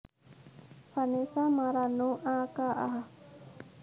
Vanessa Marano a k a